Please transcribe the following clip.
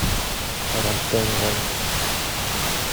рамштайн лайф